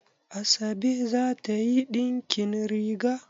Asabe za ta yi ɗinkin riga?